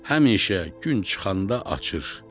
Həmişə gün çıxanda açır.